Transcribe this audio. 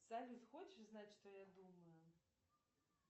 салют хочешь знать что я думаю